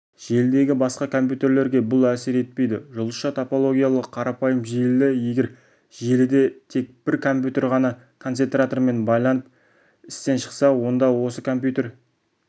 желідегі басқа компьютерлерге бұл әсер етпейді жұлдызша топологиялы қарапайым желі егер желіде тек бір компьютер қана концентратормен байланып істен шықса онда осы компьютер